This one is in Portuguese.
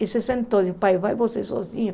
E se sentou e disse, pai, vai você sozinho.